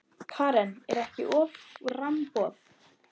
Karen: Er ekki offramboð?